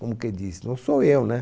Como quem diz, não sou eu, né?